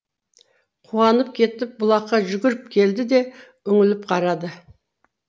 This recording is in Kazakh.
қуанып кетіп бұлаққа жүгіріп келді де үңіліп қарады